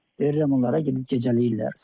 Verirəm onlara gedib gecələyirlər.